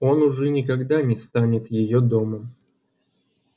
он уже никогда не станет её домом